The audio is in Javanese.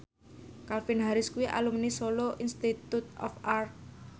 Calvin Harris kuwi alumni Solo Institute of Art